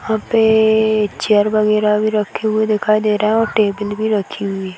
यहाँ पे चेयर वगैरह भी रखी हुई दिखाई दे रही है और टेबल भी रखी हुई है।